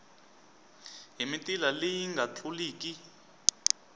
hi mitila leyi nga tluliki